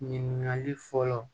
Ɲininkali fɔlɔ